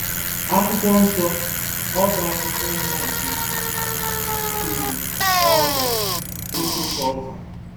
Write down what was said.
Akwụkwọ Nsọ: Ọ́bá Akwụkwọ Mba nke Griis; Quiin Ọọga: Foto Culver